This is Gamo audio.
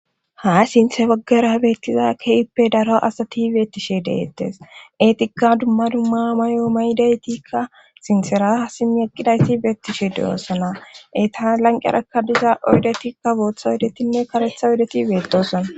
Ha sinthe baggara beettiza keyippe daro asati beettishe deettes etika dumma dumma may7o maydaytikka sintsera simmi eqqidayti beettishe deyoossona eta lanqerakka diza oydetikka bootha oyodetinne karetha oydeti beedosona